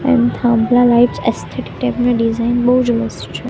એમ થાંભલા lights aesthetic type ના design બોવ જ મસ્ત છે.